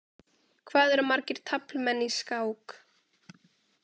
Hvað eru margir taflmenn í skák?